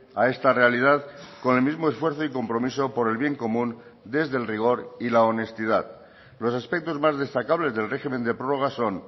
a esta realidad con el mismo esfuerzo y compromiso por el bien común desde el rigor y la honestidad los aspectos más destacables del régimen de prórrogas son